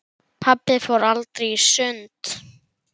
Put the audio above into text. Pabbi fór aldrei í sund.